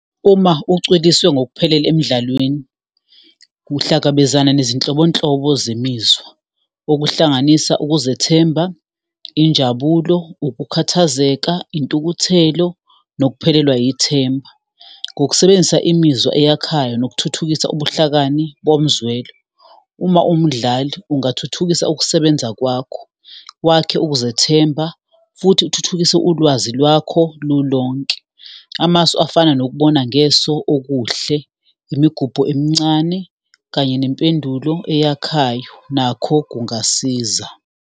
Uma ucwiliswe ngokuphelele emdlalweni, uhlangabezana nezinhlobonhlobo zemizwa, okuhlanganisa ukuzethemba, injabulo, ukukhathazeka, intukuthelo, nokuphelelwa ithemba, ngokusebenzisa imizwa eyakhayo nokuthuthukisa ubuhlakani bomzwelo. Uma uwumdlali, ungathuthukisa ukusebenza kwakho, wakhe ukuzethemba, futhi uthuthukise ulwazi lwakho lulonke. Amasu afana nokubona ngeso okuhle, imigubho emncane, kanye nempendulo eyakhayo, nakho kungasiza.